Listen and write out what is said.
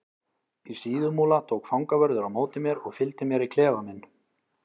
Í Síðumúla tók fangavörður á móti mér og fylgdi mér í klefa minn.